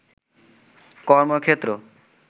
কর্মক্ষেত্র